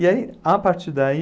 E aí, a partir daí...